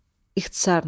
İxtisarla.